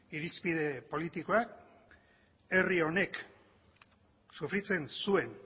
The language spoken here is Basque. irizpide politikoa herri honek sufrizen zuen